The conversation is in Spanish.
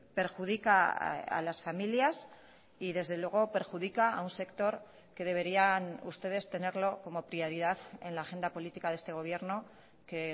perjudica a las familias y desde luego perjudica a un sector que deberían ustedes tenerlo como prioridad en la agenda política de este gobierno que